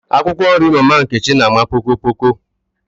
Akwụkwọ nri mama Nkechi na àmà poko poko